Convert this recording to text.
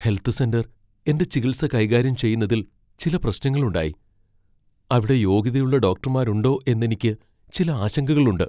Health centre എന്റെ ചികിത്സ കൈകാര്യം ചെയ്യുന്നതിൽ ചില പ്രശ്നങ്ങളുണ്ടായി. അവിടെ യോഗ്യതയുള്ള ഡോക്ടർമാരുണ്ടോ എന്നെനിക്ക് ചില ആശങ്കകളുണ്ട്.